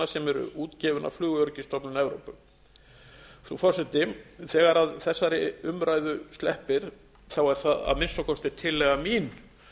sem eru útgefin af flugöryggisstofnun evrópu frú forseti þegar þessari umræðu sleppir er það að minnsta kosti tillaga mín